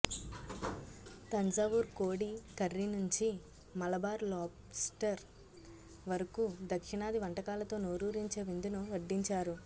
తంజావూర్ కోడి కర్రీ నుంచి మలబార్ లోబ్స్టర్ వరకు దక్షిణాది వంటకాలతో నోరూరించే విందును వడ్డించారు